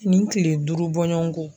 Nin kile duuru bɔɲɔngo.